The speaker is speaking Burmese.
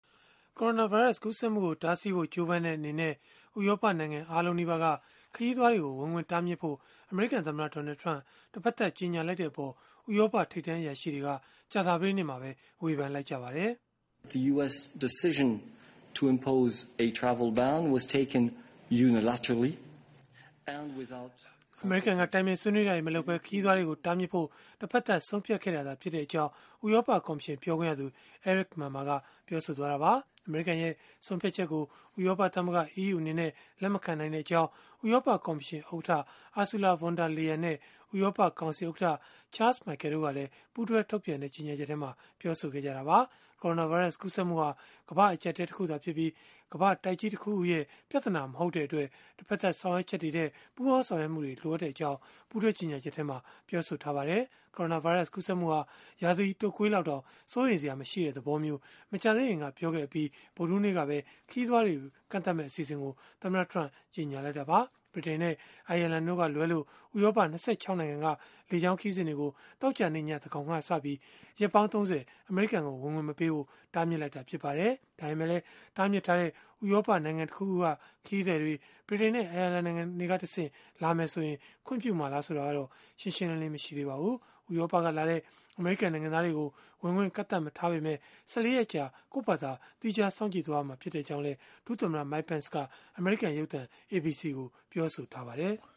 ကိုရိုနာဗိုင်းရပ်စ် ကူးစက်မှုကို တားဆီးဖို့ ကြိုးပမ်းတဲ့အနေနဲ့ ဥရောပနိုင်ငံ အားလုံးနီးပါးက ခရီးသွားတွေကို ဝင်ခွင့်တားမြစ်ဖို့ အမေရိကန်သမ္မတ Donald Trump က တဘက်သတ် ကြေညာလိုက်တဲ့အပေါ် ဥရောပထိပ်တန်းအရာရှိတွေက ကြာသပတေးနေ့မှာပဲ ဝေဖန်လိုက်ကြပါတယ်။ “အမေရိကန်က တိုင်ပင်ဆွေးနွေးတာတွေ မလုပ်ဘဲ ခရီးသွားတွေကို တားမြစ်ဖို့ တဖက်သတ်ဆုံးဖြတ်ခဲ့တာသာ ဖြစ်ကြောင်း” ဥရောပကော်မရှင် ပြောခွင့်ရသူ Eric Mamer က ပြောဆိုလိုက်တာပါ။ အမေရိကန်ရဲ့ ဆုံးဖြတ်ချက်ကို ဥရောပသမဂ္ဂ (EU) အနေနဲ့ လက်မခံကြောင်း ဥရောပကော်မရှင်ဥက္ကဋ္ဌ Ursula von der Leyen နဲ့ ဥရောပကောင်စီဥက္ကဋ္ဌ Charles Michel တို့ကလည်း ပူးတွဲထုတ်ပြန်တဲ့ ကြေညာချက် ထုတ်ပြန်ပြောဆိုခဲ့ကြတာပါ။ ကိုရိုနာဗိုင်းရပ်စ် ကူးစက်မှုဟာ ကမ္ဘာ့အကျပ်အတည်း တခုသာဖြစ်ပြီး ကမ္ဘာ့တိုက်ကြီး တခုခုရဲ့ ပြဿနာမဟုတ်တဲ့အတွက် တဘက်သတ် ဆောင်ရွက်ချက်တွေထက် ပူးပေါင်းဆောင်ရွက်မှုတွေ လိုအပ်ကြောင်းလည်း ပူးတွဲကြေညာချက်မှာ ပြောဆိုထားပါတယ်။ ကိုရိုနာဗိုင်းရပ်စ် ကူးစက်မှုဟာ ရာသီတုပ်ကွေး လောက်တောင် စိုးရိမ်စရာ မရှိတဲ့သဘောမျိုး မကြာသေးခင်ကပဲ ပြောခဲ့အပြီး ဗုဒ္ဓဟူးနေ့ကပဲ ခရီးသွားတွေ ကန့်သတ်မယ့်အစီအစဉ်ကို သမ္မတ Trump ကြေညာလိုက်တာပါ။ ဗြိတိန်နဲ့ အိုင်ယာလန်တို့ကလွဲလို့ ဥရောပ ၂၆ နိုင်ငံက လေကြောင်းခရီးစဉ်တွေကို သောကြာနေ့ည သန်းခေါင်ကစပြီး ရက်ပေါင်း ၃၀ အမေရိကန်ကို ဝင်ခွင့်မပေးဖို့ တားမြစ်လိုက်တာ ဖြစ်ပါတယ်။ ဒါပေမဲ့လည်း တားမြစ်ထားတဲ့ ဥရောပနိုင်ငံ တခုခုက ခရီးသည်တွေ ဗြိတိန်နဲ့ အိုင်ယာလန် နိုင်ငံတွေကတဆင့် လာမယ်ဆိုရင် ခွင့်ပြုမှာလား ဆိုတာကတော့ ရှင်းရှင်းလင်းလင်း မရှိပါဘူး။ ဥရောပကလာတဲ့ အမေရိကန် နိုင်ငံသားတွေကို ဝင်ခွင့် ကန့်သတ်မထားပေမဲ့ ၁၄ ရက်ကြာ ကိုယ့်ဖာသာ သီးခြားစောင့်ကြည့်ရမှာ ဖြစ်ကြောင်းလည်း ဒုသမ္မတ Mike Pence က အမေရိကန်ရုပ်သံ ABC ကို ပြောဆိုထားပါတယ်။